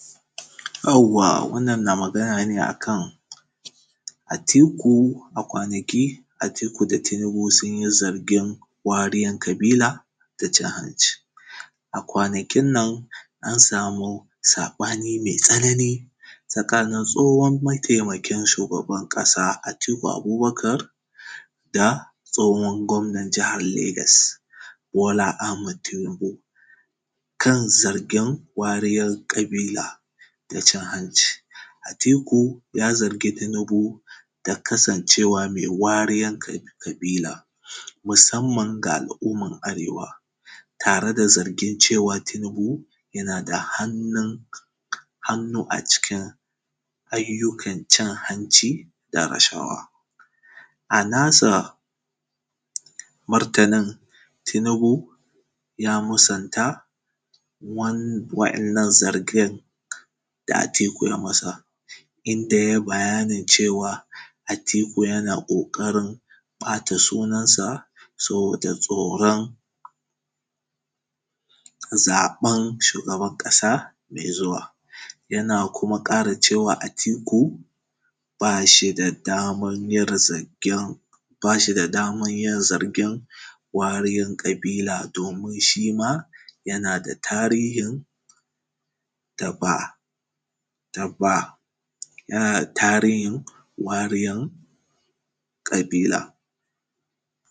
Yawwa wannan na magana ne a kan Atiku, a kwanaki Atiku da Tinibu sun yi zargin wariyar ƙabila da cin-hanci. A kwanakinnan an sami saɓani mai tsanani, tsakanin tsohon mataimakn shugaban ƙasa Atiku Abubakar da tsohon gwabnan jahar Legas Bola A hmad Tinibu. Kan zargin wariyar ƙabila da cin-hanci. Atiku ya zaigi Tinibu da kasancewa mai wariyar ƙabila musamman ga mutanen arewa, tare da zargin cewa yana da hannun hannu a cikin ayyukan cin-hanci da rashawa. A nasa martanin, Tinibu ya musanta wan waɗannan zargin da Atiku ya masa, inda yai bayanin cewa Atiku yana ƙoƙarin ɓata sunansa saboda tsoran zaɓan shugaban ƙasa mai zuwa. Yana kuma ƙara cewa Atiku, ba shi da damar yin zargin, ba shi da damar yin zargin wariyar ƙabila, domin shi ma yana da tarihin da ba, da ba tarihin wariyar ƙabila.